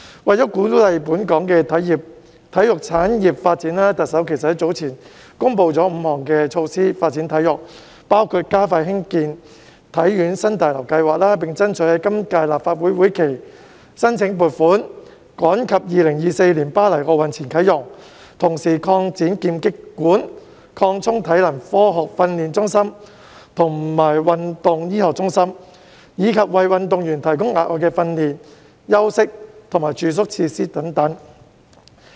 為了鼓勵本港的體育產業發展，特首早前公布了5項措施發展體育，包括加快興建香港體育學院新大樓計劃，並爭取在今屆立法會會期申請撥款，以便趕及在2024年巴黎奧運前啟用，同時擴展劍擊館、擴充體能科學訓練中心及運動醫學中心，以及為運動員提供額外的訓練、休息及住宿設施等。